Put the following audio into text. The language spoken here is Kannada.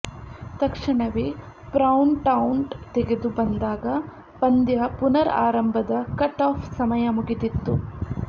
ತಕ್ಷಣವೇ ಪ್ರೌಂಟೌಟ್ ತೆಗೆದು ಬಂದಾಗ ಪಂದ್ಯ ಪುನರ್ ಆರಂಭದ ಕಟ್ ಆಫ್ ಸಮಯ ಮುಗಿದಿತ್ತು